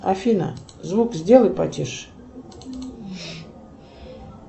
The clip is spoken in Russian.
афина звук сделай потише